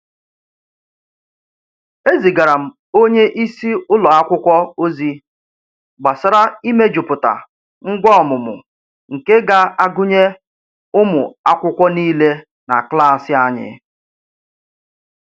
Ezigara m onye isi ụlọ akwụkwọ ozi gbasara imejuputa ngwa ọmụmụ nke ga-agụnye ụmụ akwụkwọ niile na klas anyị.